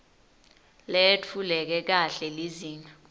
leyetfuleke kahle lizinga